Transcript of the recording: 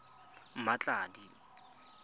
mmatladi